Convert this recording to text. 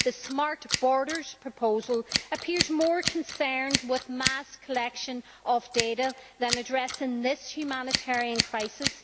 The smart borders proposal appears more concerned with the mass collection of data than with addressing this humanitarian crisis.